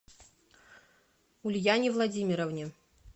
ульяне владимировне